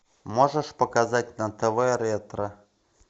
можешь показать на тв ретро